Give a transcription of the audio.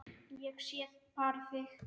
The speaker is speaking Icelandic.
Ég sé bara þig!